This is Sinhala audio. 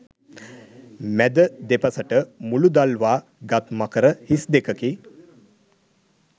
මැද දෙපසට මුළු දල්වා ගත් මකර හිස් දෙකකි